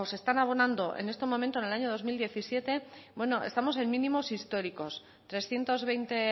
se están abonando en el año dos mil diecisiete bueno estamos en mínimos históricos trescientos veinte